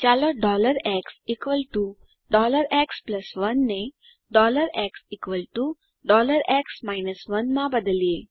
ચાલો xx1 ને xx 1 માં બદલિયે